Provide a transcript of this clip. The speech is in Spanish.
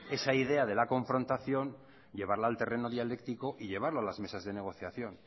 esa idea de la confrontación llevarla al terreno dialéctico y llevarlo a las mesas de negociación